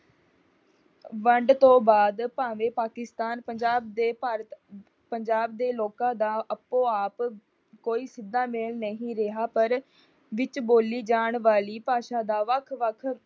ਵੰਡ ਤੋਂ ਬਾਅਦ ਭਾਵੇਂ ਪਾਕਿਸਤਾਨ ਪੰਜਾਬ ਦੇ ਭਾਰਤ ਪੰਜਾਬ ਦੇ ਲੋਕਾਂ ਦਾ ਆਪੋ ਆਪ ਕੋਈ ਸਿੱਧਾ ਮੇਲ ਨਹੀ ਰਿਹਾ। ਪਰ ਵਿੱਚ ਬੋਲੀ ਜਾਣ ਵਾਲੀ ਭਾਸ਼ਾ ਦਾ ਵੱਖ ਵੱਖ